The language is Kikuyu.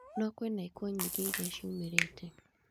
No kwĩna ikuũ nyingĩ iria ciumĩrĩte